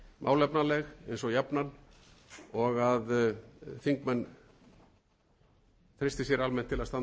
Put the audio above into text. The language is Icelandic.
málefnaleg eins og jafnan og að þingmenn treysti sér almennt til að standa að baki þessum